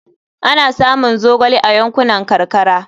Ana samun zogale a yankunan karkara.